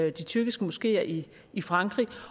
i de tyrkiske moskeer i i frankrig